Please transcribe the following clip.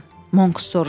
Monks soruşdu.